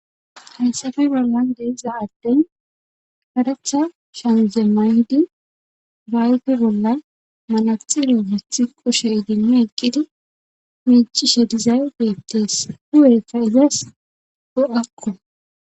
Hayssafe bollan de7iza addey karetha shamize mayidi ba ayfe bolla manaxxire wothi kushe idimmi eqqidi miiccishe dizay beettees hu7eykka izas bo7akko.